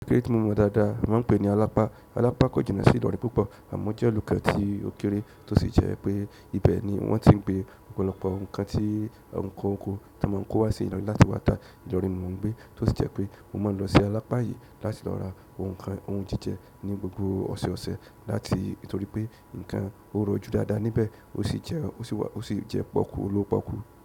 Kéré tí mo mọ dáadáa wọ́n ń pè ní alápá. Alápá kò jìnà sí Ìlọrin púpọ̀ àmọ́ ó jẹ́ olùkọ́ tí ó kéré tó sì jẹ́ pé ibẹ̀ ni wọ́n ti ń gbé ọ̀pọ̀lọpọ̀ ohun kan tí ǹkan oko, tí wọ́n kó wá sí Ìlọrin láti wà tá ní Ìlọrin mo ń gbé, tó sì jẹ́ pé mo máa ń lọ sí alápá yìí láti lọ ra ohun jíjẹ ní gbogbo ọ̀sọ̀ọ̀sẹ̀ nítorí pé nǹkan ó rọjú dáadáa níbẹ̀ ó sì jẹ́ pọ́kú olówopọ́kú.